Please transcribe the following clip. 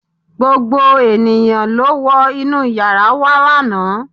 gbogbo ènìyàn ló wọ inú yàrá wa lánàá